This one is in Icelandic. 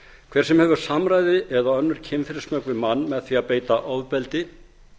hver sem hefur samræði eða önnur kynferðismök við mann með því að beita ofbeldi